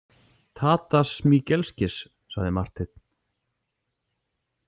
Tadas Smigelskis, sagði Marteinn.